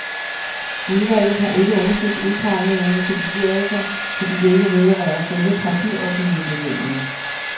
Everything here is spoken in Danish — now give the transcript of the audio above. Udvalget har ikke undersøgt udpegningen til bestyrelser, fordi det ikke vedrører selve partiorganisationen.